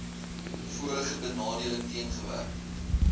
vorige benadeling teengewerk